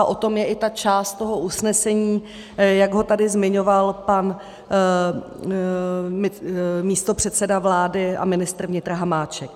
A o tom je i ta část toho usnesení, jak ho tady zmiňoval pan místopředseda vlády a ministr vnitra Hamáček.